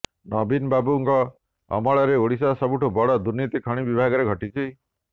ନବୀନବାବୁଙ୍କ ଅମଳରେ ଓଡ଼ିଶାର ସବୁଠୁ ବଡ଼ ଦୁର୍ନୀତି ଖଣି ବିଭାଗରେ ଘଟିଛି